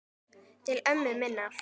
Til ömmu minnar.